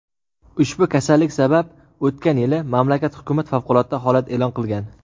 Ushbu kasallik sabab o‘tgan yili mamlakat hukumat favqulodda holat e’lon qilgan.